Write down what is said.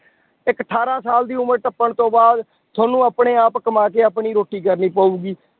ਇੱਕ ਅਠਾਰਾਂ ਸਾਲ ਦੀ ਉਮਰ ਟੱਪਣ ਤੋਂ ਬਾਅਦ ਤੁਹਾਨੂੰ ਆਪਣੇ ਆਪ ਕਮਾ ਕੇ ਆਪਣੀ ਰੋਟੀ ਕਰਨੀ ਪਊਗੀ।